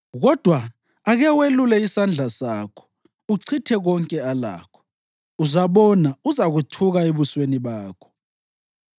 Kodwa ake welule isandla sakho uchithe konke alakho, uzabona uzakuthuka ebusweni bakho.”